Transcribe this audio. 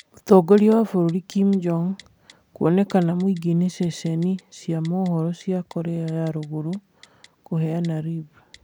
Mũtongoria wa bũrũri Kim Jong-Un kĩonekana mũingĩ-inĩ, ceceni cia mohoro cia Korea ya rũrũgũrũ kuheana rib